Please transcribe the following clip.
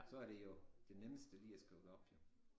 Så er det jo det nemmeste lige at skrive det op jo